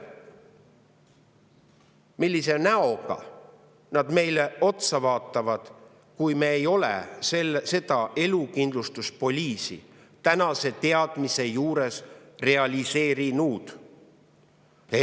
Millise näoga need eestlaste põlved meile otsa vaatavad, kui me ei ole seda elukindlustuspoliisi tänase teadmise juures realiseerinud?